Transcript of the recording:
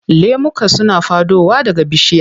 Lemuka suna faɗowa daga bishiya.